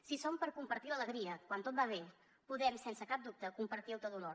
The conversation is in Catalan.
si són per compartir l’alegria quan tot va bé podem sense cap dubte compartir el teu dolor